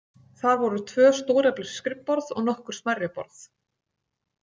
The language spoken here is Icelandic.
Þar voru tvö stóreflis skrifborð og nokkur smærri borð.